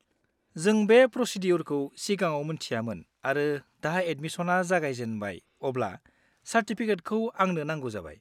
जों बे प्रसिद्युरखौ सिगाङाव मोन्थियामोन आरो दा एदमिसना जागायजेनबाय अब्ला चार्टिफिकेटखौ आंनो नांगौ जाबाय।